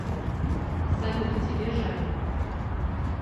салют тебе жаль